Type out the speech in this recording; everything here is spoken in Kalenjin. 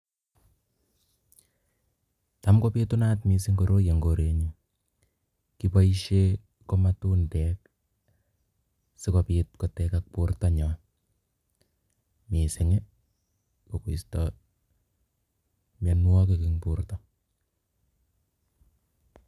Taam kobitunat mising koroi en korenyun kiboishen komatundek sikobit kotekak bortanyon mising kokoisto mionwokik en borto.